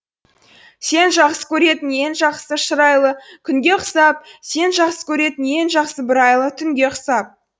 сен жақсы көретін ең жақсы шырайлы күнге ұқсап сен жақсы көретін ең жақсы бір айлы түнге ұқсап